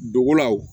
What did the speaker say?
Dogolaw